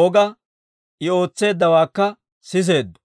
Ooga I ootseeddawaakka siseeddo.